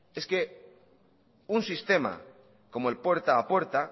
es que un sistema como el puerta a puerta